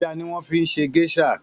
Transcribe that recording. Èjà niwòn fi ṣé géṣà